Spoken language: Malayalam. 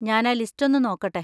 ഞാനാ ലിസ്റ്റൊന്ന് നോക്കട്ടെ.